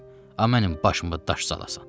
Amma mənim başıma daş salasan.